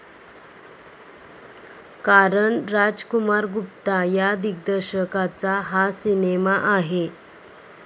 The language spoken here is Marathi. कारण राजकुमार गुप्ता या दिग्दर्शकाचा हा सिनेमा आहे.